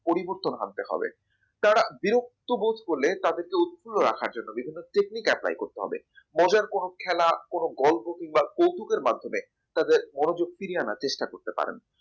পরিবর্তন আনতে হবে তারা বিরক্ত বোধ করলে তাদেরকে উত্তরের রাখার জন্য বিভিন্ন technique apply করতে হবে। মজার কোন খেলা কোন গল্প কিংবা কৌতুকের মাধ্যমে তাদের মনোযোগ ফিরিয়ে আনার চেষ্টা করতে পারেন